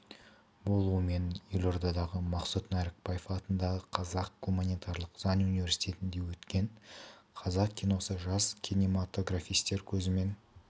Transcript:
болуымен елордадағы мақсұт нәрікбаев атындағы қазақ гуманитарлық заң университетінде өткен қазақ киносы жас кинематогрофистер көзімен